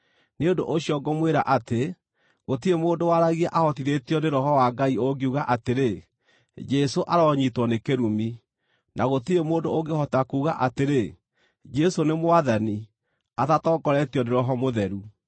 Nĩ ũndũ ũcio ngũmwĩra atĩ, gũtirĩ mũndũ waragia ahotithĩtio nĩ Roho wa Ngai ũngiuga atĩrĩ, “Jesũ aronyiitwo nĩ kĩrumi,” na gũtirĩ mũndũ ũngĩhota kuuga atĩrĩ, “Jesũ nĩ Mwathani,” atatongoretio nĩ Roho Mũtheru.